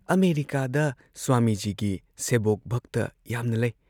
ꯑꯃꯦꯔꯤꯀꯥꯗ ꯁ꯭ꯋꯥꯃꯤꯖꯤꯒꯤ ꯁꯦꯕꯣꯛ ꯚꯛꯇ ꯌꯥꯝꯅ ꯂꯩ ꯫